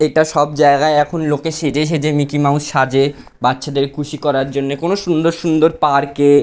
এটা সব জায়গায় এখন লোকে সেজে সেজে মিকি মাউস সাজে বাচ্চাদের খুশি করার জন্য। কোনো সুন্দর সুন্দর পার্ক এ--